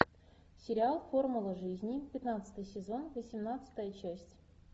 сериал формула жизни пятнадцатый сезон восемнадцатая часть